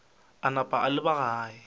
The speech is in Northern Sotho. a napa a leba gae